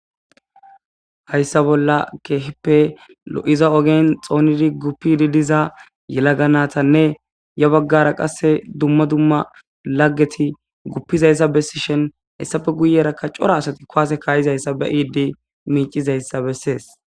hayssa bolla keeheppe lo7iza ogen xoonidi guppidi diza yelaga natanne ya baggara qasse dumma dumma laggeti guppizayssa bessishen hessafe guyerakka cora asati koase kaayizayssa be iidi miicizayssa bessees